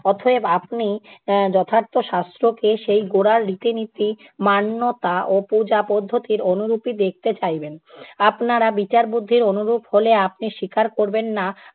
অতএব আপনি এর যথার্থ শাস্ত্রকে সেই গোড়ার রীতি-নীতি মান্যতা ও পূজা পদ্ধতির অনুরূপই দেখতে চাইবেন। আপনারা বিচার বুদ্ধির অনুরূপ হলে আপনি স্বীকার করবেন না।